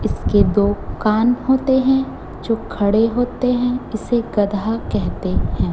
इसके दो कान होते हैं जो खड़े होते हैं इसे गदहा कहते हैं।